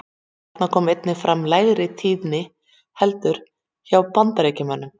Þarna kom einnig fram lægri tíðni heldur hjá Bandaríkjamönnum.